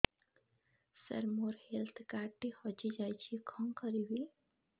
ସାର ମୋର health card ଟି ହଜି ଯାଇଛି କଣ କରିବି